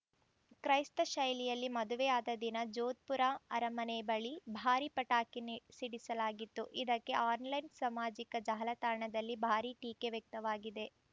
ಕ್ರೈಸ್ತ ಶೈಲಿಯಲ್ಲಿ ಮದುವೆಯಾದ ದಿನ ಜೋಧ್‌ಪುರ ಅರಮನೆ ಬಳಿ ಭಾರೀ ಪಟಾಕಿ ನಿ ಸಿಡಿಸಲಾಗಿತ್ತು ಇದಕ್ಕೆ ಆನ್‌ಲೈನ್‌ ಸಾಮಾಜಿಕ ಜಾಲತಾಣದಲ್ಲಿ ಭಾರೀ ಟೀಕೆ ವ್ಯಕ್ತವಾಗಿದೆ